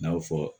N'aw fɔ